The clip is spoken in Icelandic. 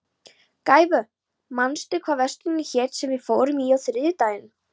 Gæfa, manstu hvað verslunin hét sem við fórum í á þriðjudaginn?